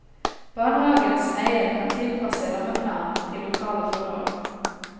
Barnehagens eier kan tilpasse rammeplanen til lokale forhold.